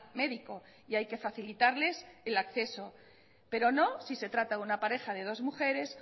médico y hay que facilitarles el acceso pero no si se trata de una pareja de dos mujeres